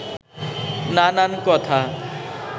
নানান কথা